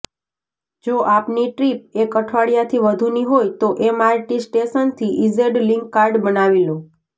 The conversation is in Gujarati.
જો આપની ટ્રિપ એક અઠવાડિયાથી વધુની હોય તો એમઆરટી સ્ટેશનથી ઇઝેડ લિંક કાર્ડ બનાવી લો